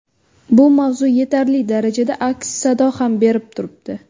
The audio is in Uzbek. Bu mavzu yetarli darajada aks-sado ham berib turibdi.